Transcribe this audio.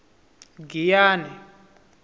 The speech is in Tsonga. giyane